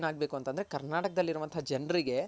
ಕರ್ನಾಟಕದಲ್ ಇರುವಂತ ಜನರಿಗೆ